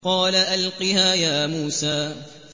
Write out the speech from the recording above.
قَالَ أَلْقِهَا يَا مُوسَىٰ